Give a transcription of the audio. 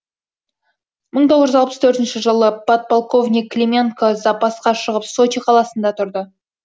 мың тоғыз жүз алпыс төртінші жылы подполковник клименко запасқа шығып сочи қаласында тұрды